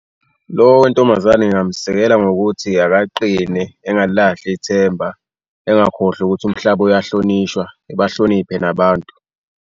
Lo wentombazane ngingamesekela ngokuthi akaqine engalilahli ithemba, engakhohlwa ukuthi umhlaba uyahlonishwa, ebahloniphe nabantu.